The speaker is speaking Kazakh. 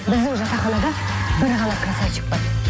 біздің жатақханада бір ғана красавчик бар